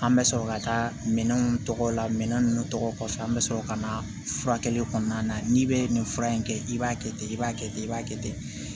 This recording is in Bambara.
An bɛ sɔrɔ ka taa minɛnw tɔgɔ la minɛn ninnu tɔgɔ kɔfɛ an bɛ sɔrɔ ka na furakɛli kɔnɔna na n'i bɛ nin fura in kɛ i b'a kɛ ten i b'a kɛ ten i b'a kɛ ten